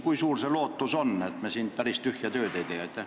Kui suur on lootus, et me siin päris tühja tööd ei tee?